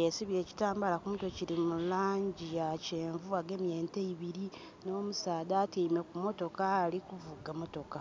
Yesibye ekitambaala ku mutwe kili mu langi ya kyenvu. Agemye ente ibiri nh'omusaadha atyaime ku motoka ali kuvuga motoka.